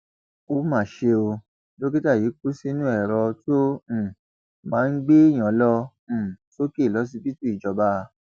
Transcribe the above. ó mà ṣe ó dókítà yìí kú sínú èrò tó um máa ń gbèèyàn lọ um sókè lọsibítù ìjọba